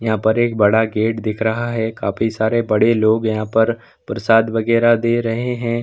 यहाँ पर एक बड़ा गेट दिख रहा है काफी सारे बड़े लोग यहाँ पर प्रसाद वगेरह दे रहे हैं।